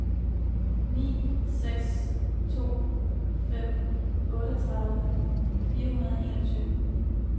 ni seks to fem otteogtredive fire hundrede og enogtyve